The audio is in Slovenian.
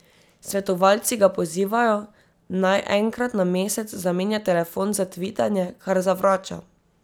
Svetovalci ga pozivajo, naj enkrat na mesec zamenja telefon za tvitanje, kar zavrača.